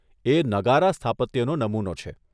એ નગારા સ્થાપત્યનો નમુનો છે.